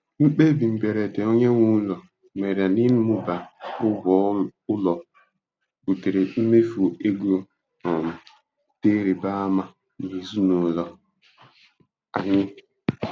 Mkpebi mberede onyenweụlọ mere n'ịmụba ụgwọ ụlọ butere mmefu ego um dị ịrịba ama n'ezinụlọ anyị.